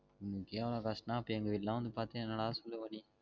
உம் உனக்கே இவ்ளோ கஷ்டம் நா அபோ எங்க வீடுலாம் வந்து பாத்தின்னா என்னடா சொல்லுவா நீ